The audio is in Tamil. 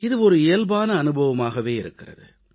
இது இயல்பான அனுபவமாகவே இருக்கிறது